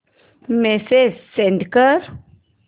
message send कर